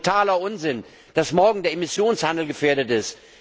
Es ist totaler Unsinn, dass morgen der Emissionshandel gefährdet ist.